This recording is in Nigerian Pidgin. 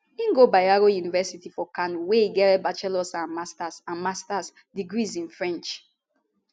im go bayero university for kano wia e get bachelors and masters and masters degrees in french